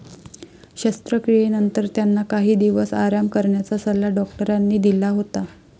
शस्त्रक्रियेनंतर त्यांना काही दिवस आराम करण्याचा सल्ला डॉक्टरांनी दिला होता.